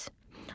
GES.